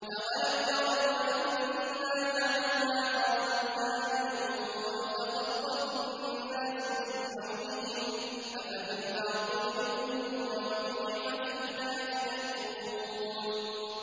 أَوَلَمْ يَرَوْا أَنَّا جَعَلْنَا حَرَمًا آمِنًا وَيُتَخَطَّفُ النَّاسُ مِنْ حَوْلِهِمْ ۚ أَفَبِالْبَاطِلِ يُؤْمِنُونَ وَبِنِعْمَةِ اللَّهِ يَكْفُرُونَ